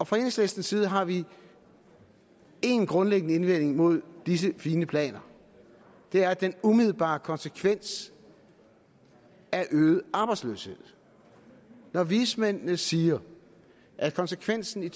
fra enhedslistens side har vi en grundlæggende indvending mod disse fine planer det er at den umiddelbare konsekvens er øget arbejdsløshed når vismændene siger at konsekvensen i